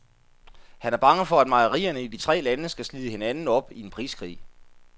Han er bange for, at mejerierne i de tre lande skal slide hinanden op i en priskrig.